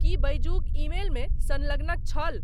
की बैजुक ईमेल मे संलग्नक छल?